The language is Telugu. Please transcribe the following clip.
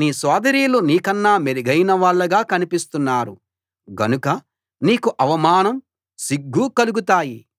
నీ సోదరీలు నీకన్నా మెరుగైనవాళ్ళుగా కనిపిస్తున్నారు గనుక నీకు అవమానం సిగ్గూ కలుగుతాయి